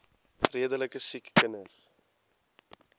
redelike siek kinders